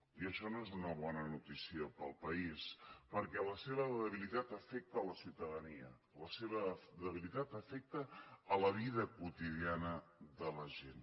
i això no és una bona notícia per al país perquè la seva debilitat afecta la ciutadania la seva debilitat afecta la vida quotidiana de la gent